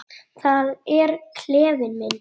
Það er klefinn minn.